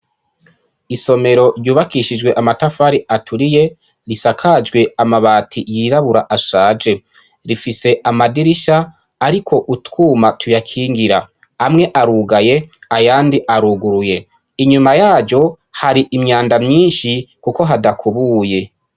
Isomero ryubakishijwe amatafari aturiye. Risakajwe amabati yirabura ashake. Rifise amadirisha ariko utwuma tuyakingira. Amwe arugaye, ayandi aruguruye. Inyuma yaryo, har'imyanda myinshi kuko hadakubuye.